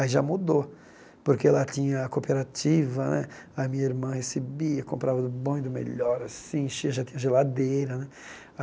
Aí já mudou, porque lá tinha a cooperativa né, a minha irmã recebia, comprava do bom e do melhor assim, enchia, já tinha geladeira né.